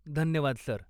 धन्यवाद सर.